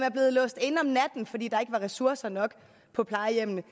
er blevet låst inde om natten fordi der ikke var ressourcer nok på plejehjemmene